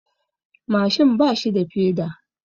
Mashin bashi da peda.